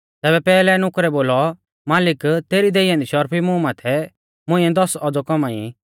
तैबै पैहलै नुकरै बोलौ मालिक तेरी देई ऐन्दी शर्फी मुहरी माथै मुंइऐ दस औज़ौ कौमाई